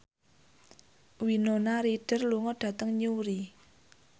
Winona Ryder lunga dhateng Newry